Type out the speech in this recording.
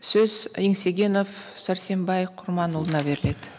сөз еңсегенов сәрсенбай құрманұлына беріледі